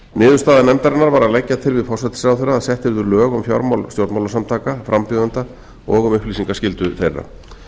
niðurstaða nefndarinnar var að leggja til við forsætisráðherra að sett yrðu lög um fjármál stjórnmálasamtaka frambjóðenda og um upplýsingaskyldu þeirra